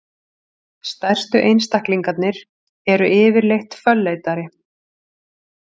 stærstu einstaklingarnir eru yfirleitt fölleitari